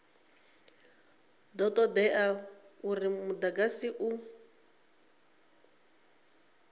do todea uri mudagasi u